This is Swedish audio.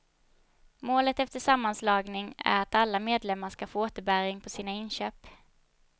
Målet efter sammanslagning är att alla medlemmar ska få återbäring på sina inköp.